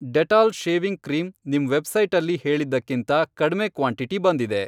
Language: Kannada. ಡೆಟಾಲ್ ಶೇವಿಂಗ್ ಕ್ರೀಂ ನಿಮ್ ವೆಬ್ಸೈಟಲ್ಲಿ ಹೇಳಿದ್ದಕ್ಕಿಂತ ಕಡ್ಮೆ ಕ್ವಾಂಟಿಟಿ ಬಂದಿದೆ.